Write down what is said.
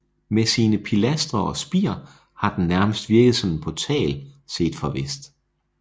Med sine pilastre og spir har den nærmest virket som en portal set fra vest